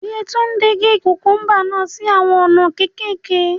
Yetunde n ge kukumba naa si awọn ona kekeke